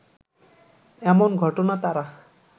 এমন ঘটনা তারা